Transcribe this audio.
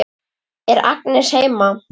Er Agnes heima?